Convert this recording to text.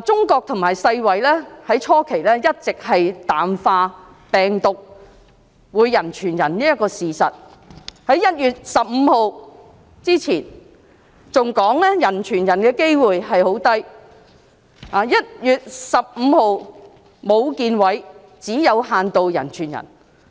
中國和世界衞生組織初期一直淡化病毒會人傳人的事實，在1月15日之前，還表示病毒人傳人的機會十分低 ；1 月15日，武漢市衞生健康委員會指病毒會有限度人傳人；